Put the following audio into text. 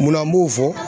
Munna an b'o fɔ